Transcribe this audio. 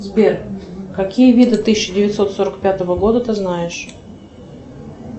сбер какие виды тысяча девятьсот сорок пятого года ты знаешь